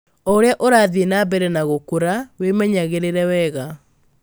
O ũrĩa ũrathiĩ na mbere na gũrakũra, wĩmenyagĩrĩre wega.